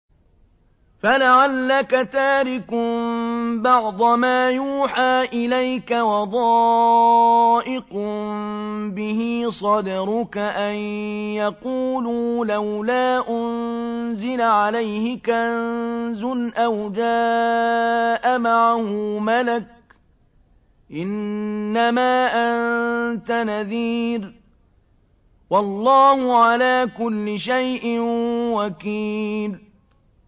فَلَعَلَّكَ تَارِكٌ بَعْضَ مَا يُوحَىٰ إِلَيْكَ وَضَائِقٌ بِهِ صَدْرُكَ أَن يَقُولُوا لَوْلَا أُنزِلَ عَلَيْهِ كَنزٌ أَوْ جَاءَ مَعَهُ مَلَكٌ ۚ إِنَّمَا أَنتَ نَذِيرٌ ۚ وَاللَّهُ عَلَىٰ كُلِّ شَيْءٍ وَكِيلٌ